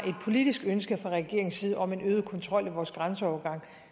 politisk ønske fra regeringens side om en øget kontrol af vores grænseovergange